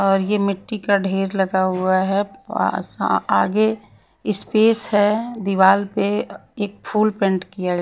और ये मिट्टी का ढेर लगा हुआ है पास आगे स्पेस है दीवाल पे एक फूल पेंट किया --